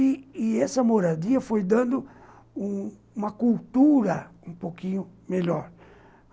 E e essa moradia foi dando uma cultura um pouquinho melhor.